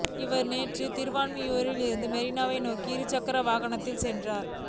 இவர் நேற்று திருவான்மியூரில் இருந்து மெரினா நோக்கி இருசக்கர வாகனத்தில் சென்றார்